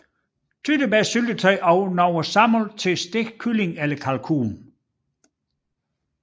Tyttebærsyltetøj af nogle sammen til stegt kylling eller kalkun